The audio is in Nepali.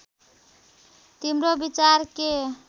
तिम्रो विचार के